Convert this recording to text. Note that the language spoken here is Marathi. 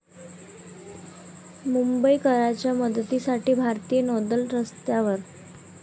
मुंबईकरांच्या मदतीसाठी भारतीय नौदल रस्त्यावर